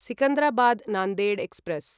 Secunderabad Nanded express